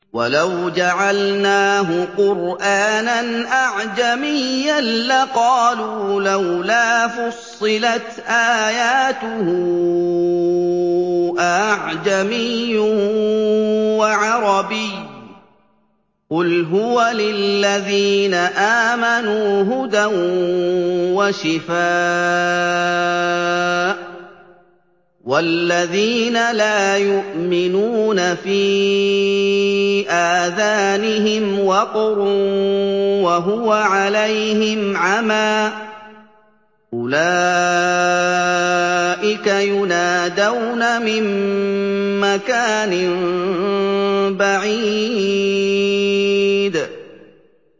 وَلَوْ جَعَلْنَاهُ قُرْآنًا أَعْجَمِيًّا لَّقَالُوا لَوْلَا فُصِّلَتْ آيَاتُهُ ۖ أَأَعْجَمِيٌّ وَعَرَبِيٌّ ۗ قُلْ هُوَ لِلَّذِينَ آمَنُوا هُدًى وَشِفَاءٌ ۖ وَالَّذِينَ لَا يُؤْمِنُونَ فِي آذَانِهِمْ وَقْرٌ وَهُوَ عَلَيْهِمْ عَمًى ۚ أُولَٰئِكَ يُنَادَوْنَ مِن مَّكَانٍ بَعِيدٍ